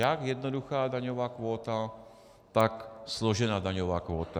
Jak jednoduchá daňová kvóta, tak složená daňová kvóta.